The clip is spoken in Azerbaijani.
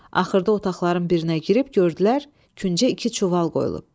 Axırda otaqların birinə girib gördülər, küncə iki çuval qoyulub.